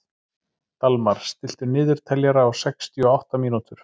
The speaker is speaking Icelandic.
Dalmar, stilltu niðurteljara á sextíu og átta mínútur.